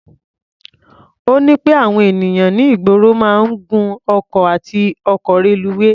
Ó ní pé àwọn ènìyàn ní ìgboro máa ń gun ọkọ̀ àti ọkọ̀ reluwé.